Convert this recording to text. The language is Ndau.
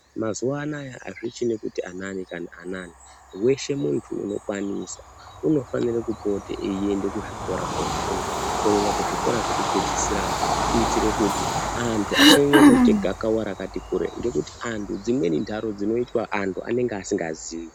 Mazuwa anaya azvichine kuti anani kana anani weshe muntu unokwanisa unofanira kupote eienda kuzvikora kofunda kunyanya kuzvikora zvekupedzisirayo kuitire kuti antu asanyanya kuite gakava rakati kure ngekuti antu dzimweni ntaro dzinoitwa antu anenge asingazivi.